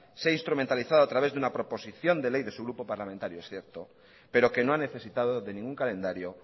sea instrumentalizada a través de una proposición de ley de su grupo parlamentario cierto pero que no ha necesitado de ningún calendario